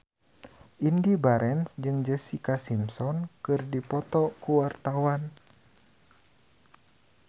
Indy Barens jeung Jessica Simpson keur dipoto ku wartawan